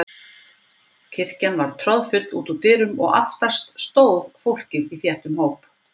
Kirkjan var troðfull út úr dyrum og aftast stóð fólkið í þéttum hóp.